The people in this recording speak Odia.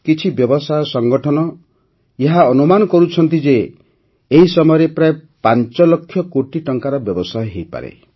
କିଛି ବ୍ୟବସାୟ ସଂଗଠନ ଏହା ଅନୁମାନ କରୁଛନ୍ତି ଯେ ଏହି ସମୟରେ ପ୍ରାୟ ୫ ଲକ୍ଷ କୋଟି ଟଙ୍କାର ବ୍ୟବସାୟ ହୋଇପାରେ